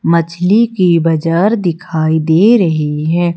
मछली की बजार दिखाई दे रही है।